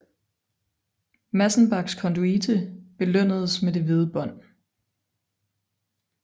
Massenbachs konduite belønnedes med det hvide bånd